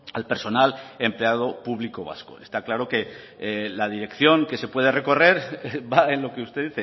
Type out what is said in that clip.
al personal empleado público vasco está claro que la dirección que se pueda recorrer va en lo que usted